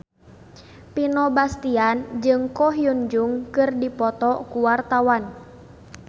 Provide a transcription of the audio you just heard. Vino Bastian jeung Ko Hyun Jung keur dipoto ku wartawan